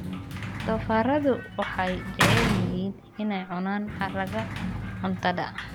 Doofaarradu waxay jecel yihiin inay cunaan haraaga cuntada.